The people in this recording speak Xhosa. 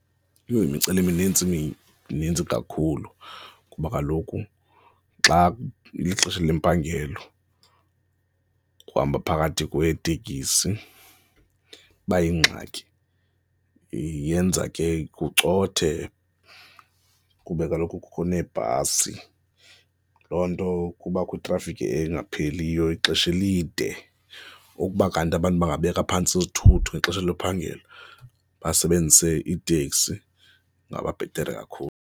Yho! Imiceliminintsi mnintsi kakhulu kuba kaloku xa ilixesha lempangelo ukuhamba phakathi kweetekisi iba yingxaki, yenza ke kucothe kuba kaloku kukho neebhasi. Loo nto kubakho itrafikhi engapheliyo ixesha elide. Ukuba kanti abantu bangabeka phantsi izisithuthi ngexesha lophangela basebenzise iteksi, kungaba bhetere kakhulu.